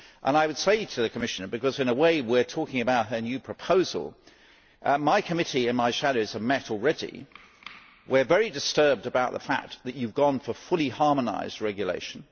I would say to the Commissioner because, in a way, we are talking about her new proposal that my committee and my shadows have met already, and we are very disturbed about the fact that you have gone for fully harmonised regulation.